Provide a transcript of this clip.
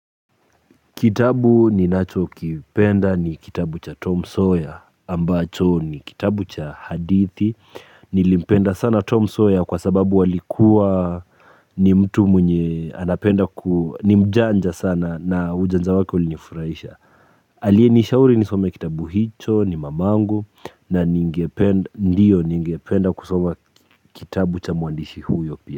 Kitabu ninachokipenda ni kitabu cha Tom Sawyer ambacho ni kitabu cha hadithi nilimpenda sana Tom sawyer kwa sababu alikuwa ni mtu mwenye anapenda ni mjanja sana na ujanja wake ulinifurahisha. Aliyenishauri nisome kitabu hicho ni mamangu na ndio ningependa kusoma kitabu cha mwandishi huyo pia.